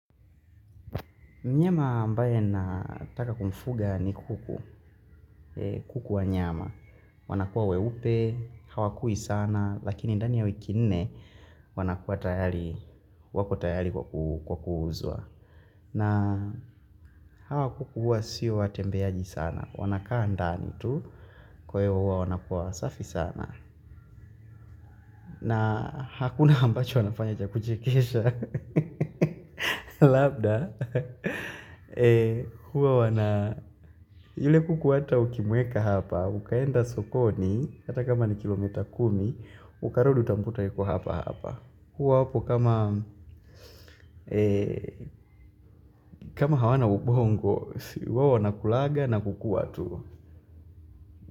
Mnyama ambaye nataka kumfuga ni kuku. Kuku wa nyama. Wanakuwa weupe, hawakui sana, lakini ndani ya wiki nne wanakuwa tayari, wako tayari kwa kuuzwa. Na hawakuku huwa sio watembeaji sana. Wanakaandani tu kwa hiyo huwa wanakuwa safi sana. Na hakuna ambacho wanafanya cha kuchekesha. Labda huwa wana yule kuku hata ukimweka hapa ukaenda sokoni hata kama ni kilomita kumi ukarudi utamkuta yuko hapa hapa. Huwa wapo kama kama hawana ubongo. Huwa wana kulanga na kukua tu.